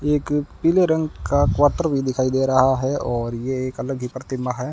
एक पीले रंग का क्वार्टर भी दिखाई दे रहा है और ये एक अलग ही प्रतिमा है।